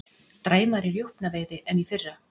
Dræmari rjúpnaveiði en í fyrra